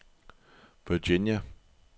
Virginia